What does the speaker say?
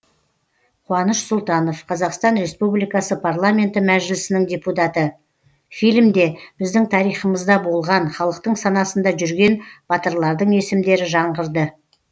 қуаныш сұлтанов қазақстан республикасы парламенті мәжілісінің депутаты фильмде біздің тарихымызда болған халықтың санасында жүрген батырлардың есімдері жаңғырды